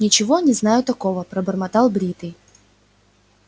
ничего не знаю такого пробормотал бритый